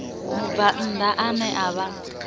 mubvann ḓa ane a vha